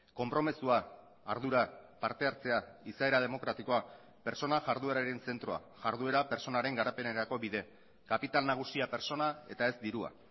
konpromisoa ardura partehartzea izaera demokratikoa pertsona jardueraren zentroa jarduera pertsonaren garapenerako bide kapital nagusia pertsona eta ez dirua